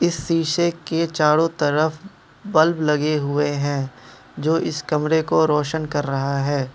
शीशे के चारों तरफ बल्ब लगे हुए हैं जो इस कमरे को रोशन कर रहा है।